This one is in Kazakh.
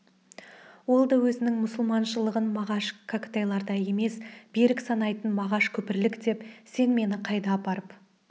ол да өзінің мұсылманшылығын мағаш кәкітайлардай емес берік санайтын мағаш күпірлік деп сен мені қайда апарып